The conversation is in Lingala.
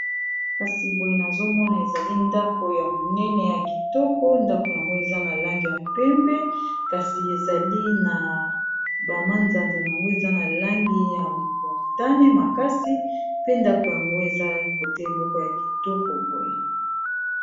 Kasi boye nazomona ezali ndako ya monene ya kitoko ndako yango eza na langi ya pembe kasi ezali na ba manzanza nango eza na langi ya motane makasi pe ndako yango eza kote moko ya kitoko boye.